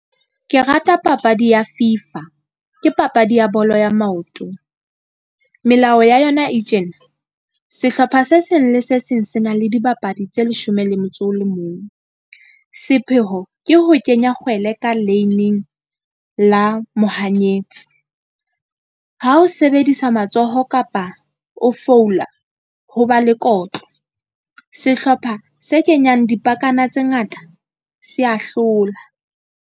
Ke rata papadi ya FIFA ke papadi ya bolo ya maoto. Melao ya yona e tjena, sehlopha se seng le se seng se na le dibapadi tse leshome le motso o le mong. Sepheo ke ho kenya kgwele ka la mohanyetsi. Ha o sebedisa matsoho kapa o , ho ba le kotlo. Sehlopha se kenyang dipakana tse ngata se ya hlola.